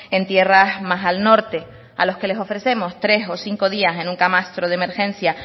en tierras más al norte a los que les ofrecemos tres o cinco días en un camastro de emergencia